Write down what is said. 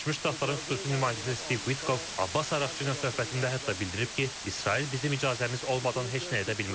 Birləşmiş Ştatların xüsusi nümayəndəsi Stiv Vitkov Abbas Araqçı ilə söhbətində hətta bildirib ki, İsrail bizim icazəmiz olmadan heç nə edə bilməz.